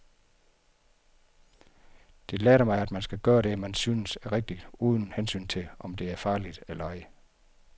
Det lærte mig, at man skal gøre det, man synes er rigtigt, uden hensyn til, om det er farligt eller ej.